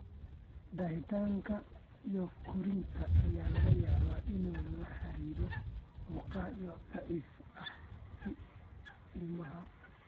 Daahitaanka korriinka ayaa laga yaabaa inuu la xiriiro murqaha daciifka ah ee ilmaha.